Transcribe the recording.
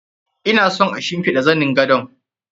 Ina son a shimfiɗa zanin gadon.